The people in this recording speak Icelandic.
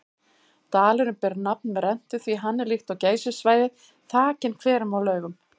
Dalurinn ber nafn með rentu því hann er líkt og Geysissvæðið þakinn hverum og laugum.